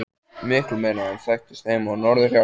Miklu meiri en þekktist heima á norðurhjaranum.